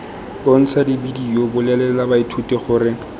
bontsha bedio bolelela baithuti gore